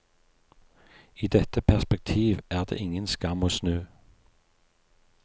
I dette perspektiv er det ingen skam å snu.